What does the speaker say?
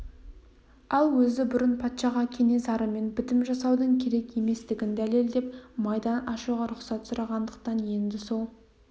ал өзі бұрын патшаға кенесарымен бітім жасаудың керек еместігін дәлелдеп майдан ашуға рұқсат сұрағандықтан енді сол